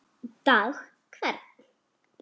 dag hvern